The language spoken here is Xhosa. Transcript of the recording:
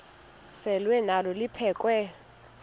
selwa nalo liphekhwe